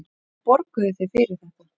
Hvað borguðuð þið fyrir þetta?